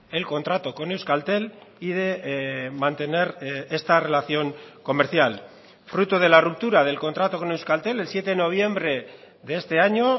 el contrato con euskaltel y de mantener esta relación comercial fruto de la ruptura del contrato con euskaltel el siete de noviembre de este año